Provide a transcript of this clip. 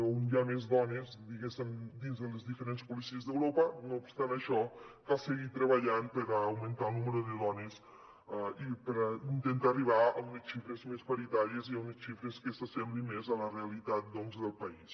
on hi ha més dones diguéssim dins de les diferents policies d’europa no obstant això cal seguir treballant per augmentar el nombre de dones i per intentar arribar a unes xifres més paritàries i a unes xifres que s’assemblin més a la realitat doncs del país